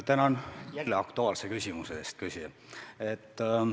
Tänan jälle aktuaalse küsimuse eest!